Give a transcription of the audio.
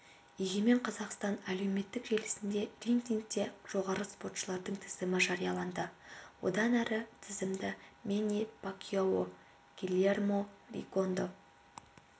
егемен қазақстан әлеуметтік желісінде рейтингте жоғары спортшылардың тізімі жарияланды одан әрі тізімді мэнни пакьяо гильермо ригондо